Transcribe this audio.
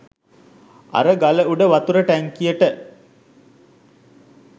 අර ගල උඩ වතුර ටැංකියට